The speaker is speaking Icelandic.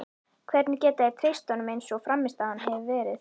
Hvernig geta þeir treyst honum eins og frammistaðan hefur verið?